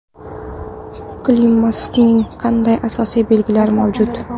Klimaksning qanday asosiy belgilari mavjud ?